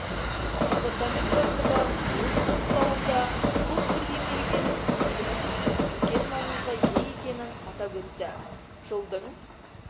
департамент бастығы өз құттықтауында қос бірдей мерекенің еліміз үшін үлкен маңызға ие екенін атап өтті жылдың